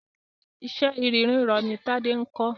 Iṣẹ́ irin rírọ ni Tádé ń kọ́.